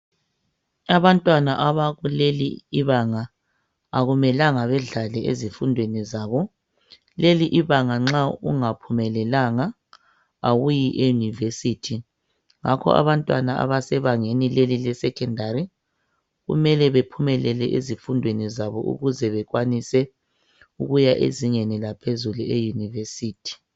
Abantwana abakuleli ibanga akumelanga bedlale ezifundweni zabo Leli ibanga nxa ungaphumelelanga awuyi eyunivesithi ngakho abantwana abasebangeni leli le Secondary kumele bephumelele ezifundweni zabo ukuze bekwanise ukuya ezingeni laphezulu eyunivesithi